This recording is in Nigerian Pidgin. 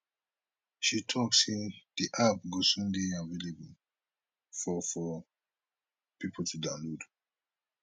she tok say di app go soon dey available for for pipo to download